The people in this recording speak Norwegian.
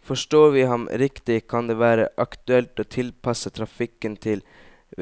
Forstår vi ham riktig, kan det være aktuelt å tilpasse trafikken til